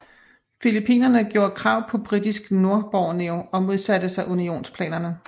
Filippinerne gjorde krav på Britisk Nordborneo og modsatte sig unionsplanerne